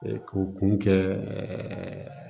k'o kun kɛ